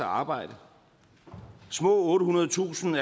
arbejde små ottehundredetusind